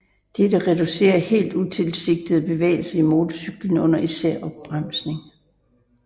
Dette reducerer helt utilsigtede bevægelser i motorcyklen under især opbremsning